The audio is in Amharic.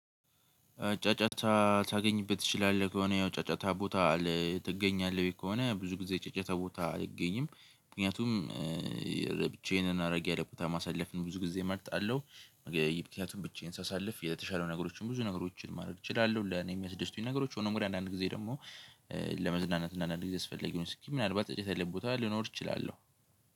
ጫጫታ ታገኝበት ትችላለህ ከሆነ ያው ጫጫታ ቦታ ትገኛለህ ከሆነ ብዙ ጊዜ ጫጫታ ቦታ አልገኝም ምክንያቱም ብቻዬንና እራቅ ያለ ቦታ ማሳለፍን ብዙ ጊዜ እመርጣለሁ። ምክንያቱም ብቻዬን ሳሳልፍ የተሻለው ነገሮችን ብዙ ነገሮችን ማድረግ እችላለሁ። ለኔ የሚያስደስቱኝ ነገሮች ሆኖም ግንእንግዲህ አንዳንድ ጊዜ ደግሞ ለመዝናናትና አንዳንድ ጊዜ አስፈላጊ ሆኖ ሲገኝ ምናልባት ጫጫታ ያለበት ቦታ ልኖር እችላለሁ።